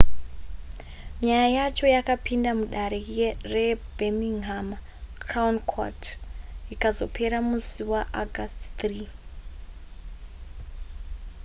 nyaya yacho yakapinda mudare rebirminghama crown court ikazopera musi waaugust 3